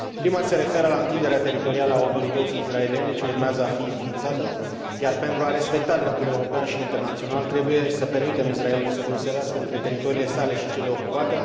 Prima se referă la întinderea teritorială a Autorității israeliene ce urmează a fi înființată, iar pentru a respecta dreptul european și internațional, trebuie să permitem Israelului să deosebească între teritoriile sale și cele ocupate.